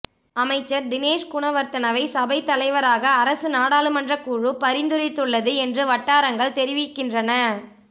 அமைச்சர் தினேஷ் குணவர்தனவை சபைத் தலைவராக அரசு நாடாளுமன்றக் குழு பரிந்துரைத்துள்ளது என்று வட்டாரங்கள் தெரிவிக்கின்றன